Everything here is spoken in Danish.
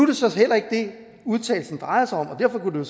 det så heller ikke det udtalelsen drejer sig om og derfor kunne det